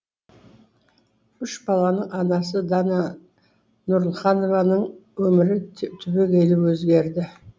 үш баланың анасы дана нұралханованың өмірі түбегейлі өзгерді